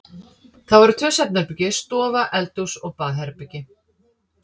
Það voru tvö svefnherbergi, stofa, eldhús og baðherbergi.